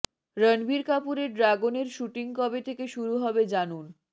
রণবীর কাপুরের ড্রাগনের শুটিং কবে থেকে শুরু হবে জানুন